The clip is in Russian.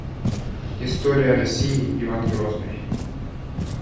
история россии иван грозный